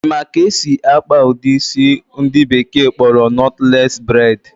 Ị ma ka esi akpa ụdị isi ndị bekee kpọrọ nọtles braid?